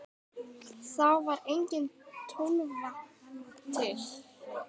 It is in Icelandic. Þá var engin Tólfa til!